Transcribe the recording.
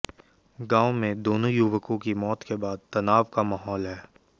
गांव में दोनों युवकों की मौत के बाद तनाव का माहौल है